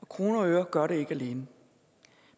kroner og øre gør det ikke alene